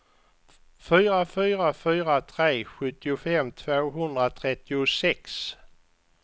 fyra fyra fyra tre sjuttiofem tvåhundratrettiosex